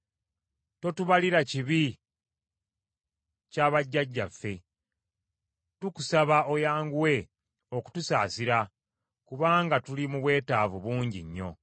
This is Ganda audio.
Totubalira kibi kya bajjajjaffe; tukusaba oyanguwe okutusaasira kubanga tuli mu bwetaavu bungi nnyo.